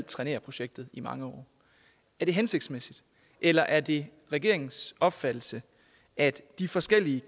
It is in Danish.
trænere projektet i mange år er det hensigtsmæssigt eller er det regeringens opfattelse at de forskellige